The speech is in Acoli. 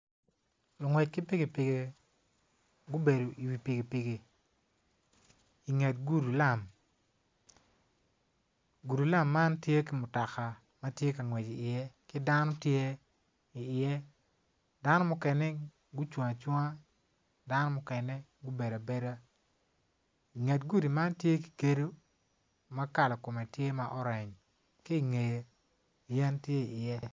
Lungwec ki piki piki kubedo i wi piki piki inget gudulam gudu lam man tye ki mutoka matye ka ngwec i iye ki dano tye i iye dano mukene gucung acunga dano mukene gubedo abeda nget gudi man tye ki gedo ma kala kome tye ma orange ki ngeye yen tye i iye